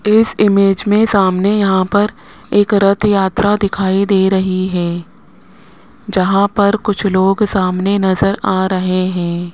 इस इमेज में सामने यहां पर एक रथ यात्रा दिखाई दे रही है जहां पर कुछ लोग सामने नजर आ रहे हैं।